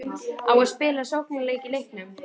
Á að spila sóknarleik í leiknum?